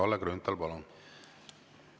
Kalle Grünthal, palun!